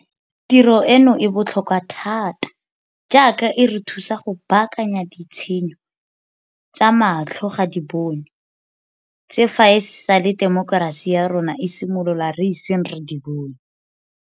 Tiro eno e botlhokwa thata jaaka e re thusa go baakanya ditshenyo tsa matlho ga di bonwe tse fa e sale temokerasi ya rona e simolola re iseng re di bone.